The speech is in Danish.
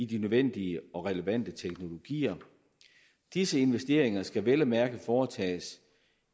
de nødvendige og relevante teknologier disse investeringer skal vel at mærke foretages